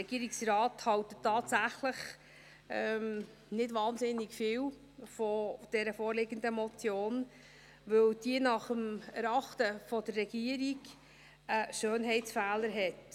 Der Regierungsrat hält tatsächlich nicht wahnsinnig viel von der vorliegenden Motion, weil sie im Erachten der Regierung einen Schönheitsfehler hat: